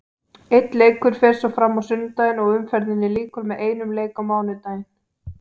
Einn leikur fer svo fram á sunnudaginn og umferðinni lýkur með einum leik á mánudaginn.